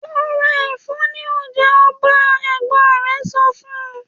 ‘Lo̩ ra è̩fó̩ ní o̩jà o̩ba!’. È̩gbó̩n re̩ so̩ fun